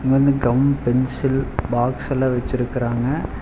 இங்க வந்து gum pencil பாக்ஸ்ஸல்லா வெச்சுருக்குறாங்க.